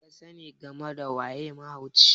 me kasani game da waye mahauci?